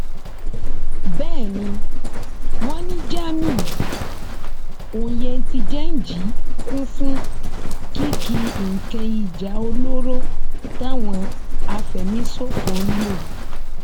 bẹẹ ni wọn ní jamiu oyentijẹnji kún fún kìkì nǹkan ìjà olóró táwọn afẹmíṣòfò ń lò